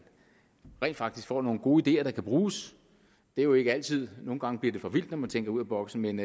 rent faktisk får nogle gode ideer der kan bruges det er jo ikke altid nogle gange bliver det for vildt når man tænker ud af boksen men